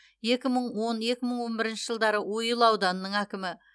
екі мың он екі мың он бірінші жылдары ойыл ауданының әкімі